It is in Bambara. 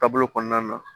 Taabolo kɔnɔna na